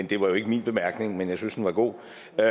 det var jo ikke min bemærkning men jeg synes den var god